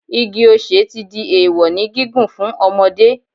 Igi ọ̀sẹ̀ ti di èèwọ̀ ní gígùn fún ọmọdé